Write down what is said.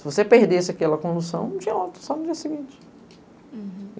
Se você perdesse aquela condução, não tinha outra, só no dia seguinte. Hurum.